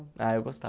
Ah, eu gostava.